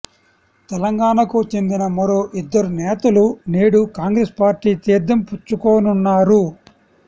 తెలంగాణకు చెందిన మరో ఇద్దరు నేతలు నేడు కాంగ్రెస్ పార్టీ తీర్థం పుచ్చుకోనున్నారు